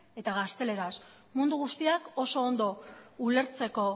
eta gazteleraz mundu guztiak oso ondo ulertzeko